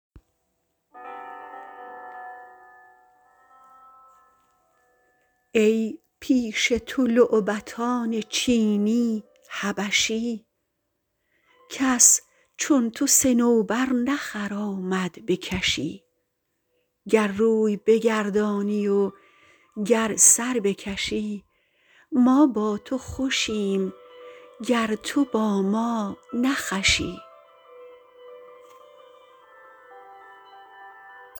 ای پیش تو لعبتان چینی حبشی کس چون تو صنوبر نخرامد به کشی گر روی بگردانی و گر سر بکشی ما با تو خوشیم گر تو با ما نه خوشی